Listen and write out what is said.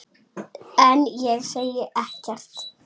En ég segi ekkert.